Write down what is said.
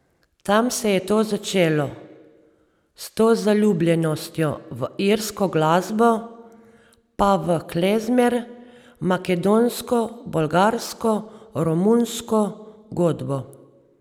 Tam se je to začelo, s to zaljubljenostjo v irsko glasbo pa v klezmer, makedonsko, bolgarsko, romunsko godbo ...